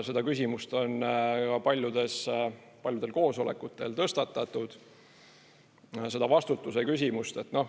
Seda küsimust on paljudel koosolekutel tõstatatud, seda vastutuse küsimust.